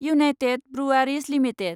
United breweries limited